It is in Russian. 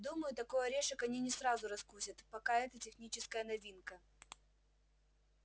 думаю такой орешек они не сразу раскусят пока это техническая новинка